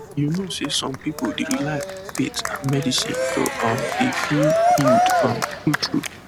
you know say some pipu dey rely on faith and medicine to um dey feel healed um true true